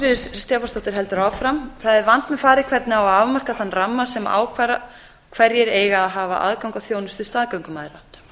ástríður stefánsdóttir heldur áfram þriðja það er vandmeðfarið hvernig á að afmarka þann ramma sem ákvarðar hverjir eigi að hafa aðgang að þjónustu staðgöngumæðra